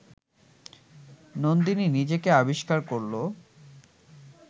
নন্দিনী নিজেকে অবিষ্কার করল